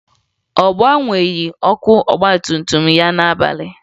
Ọ gbagheghi ọkụ ọgbatumtum ya n'abalị